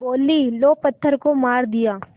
बोलीं लो पत्थर को मार दिया